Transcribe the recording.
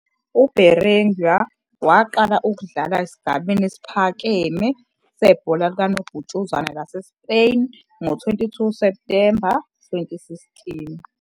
UBerenguer waqala ukudlala esigabeni esiphakeme sebhola likanobhutshuzwayo laseSpain ngo-22 September 2016.